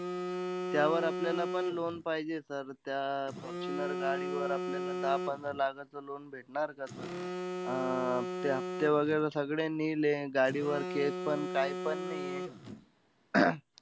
त्यावर आपल्याला पण loan पाहिजे sir. त्या अं फॉर्च्युनर गाडीवर आपल्याला दहा-पंधरा लाखाचं loan भेटणार का sir? अं ते हफ्ते वगैरा सगळे nil हे. गाडीवर case पण, काईपण नाहीये.